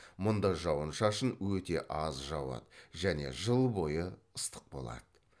мұнда жауын шашын өте аз жауады және жыл бойы ыстық болады